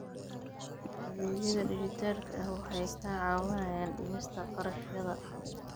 Adeegyada dijitaalka ah waxay kaa caawinayaan dhimista kharashyada.